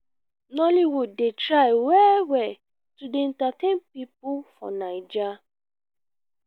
nolloywood dey try well-well to dey entertain pipo for naija.